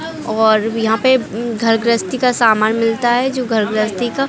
और यहाँ पे घर ग्रहस्ती का सामान मिलता है जो घर ग्रहस्ती का--